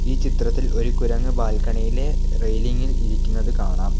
ഈ ചിത്രത്തിൽ ഒരു കുരങ്ങ് ബാൽക്കണിയിലെ റെയിലിംഗിൽ ഇരിക്കുന്നത് കാണാം.